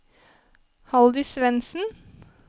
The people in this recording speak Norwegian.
Haldis Svensen